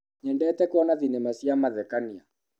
Nyendete kuona thinema cia mathekania.